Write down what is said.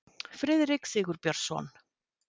Friðrik Sigurbjörnsson.